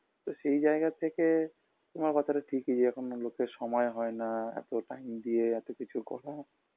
তো সেই জায়গা থেকে তোমার কথাটা ঠিকই যে এখনও লোকের সময় হয়না আ এত time দিয়ে এতো কিছু করা